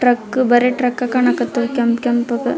Truck ಬರಿ truck ಕಾಣಕತೀವ್ ಕೆಂಪ್ ಕೆಂಪ್ ಗ್.